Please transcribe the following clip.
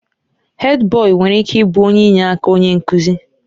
Hèdbọyi nwere ike ịbụ onye inyeaka onye nkuzi.